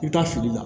I bɛ taa fili la